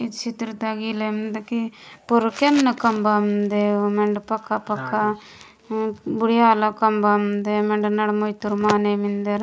इच्छित्रता मिंदगी पुरुकेन नकम्मा देय मंद पका पका बुढ़िया लकम्मा मिन्दे मेड नड़ मोई तोर माने मिन्दे।